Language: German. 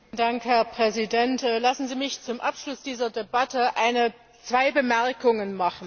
Herr Präsident! Lassen Sie mich zum Abschluss dieser Debatte zwei Bemerkungen machen.